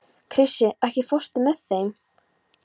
Krissi, ekki fórstu með þeim?